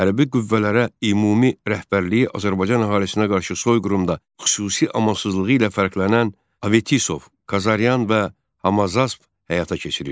Hərbi qüvvələrə ümumi rəhbərliyi Azərbaycan əhalisinə qarşı soyqırımda xüsusi amansızlığı ilə fərqlənən Avestisov, Kazaryan və Hamazasp həyata keçirirdi.